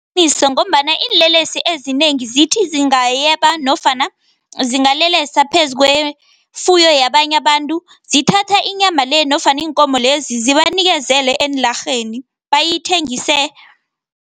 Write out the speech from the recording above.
Liqiniso ngombana iinlelesi ezinengi zithi zingayeba, nofana zingalelesa phezu kwefuyo yabanye abantu, zithatha inyama le, nofana iinkomo lezi, zibanikezele eenlarheni bayithengise